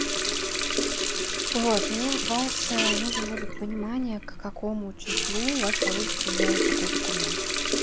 вот мне от вас нужно будет понимание к какому числу у вас получится сделать такой документ